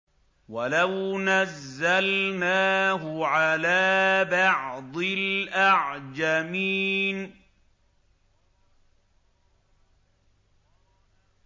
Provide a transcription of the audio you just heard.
وَلَوْ نَزَّلْنَاهُ عَلَىٰ بَعْضِ الْأَعْجَمِينَ